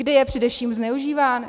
Kdy je především zneužíván?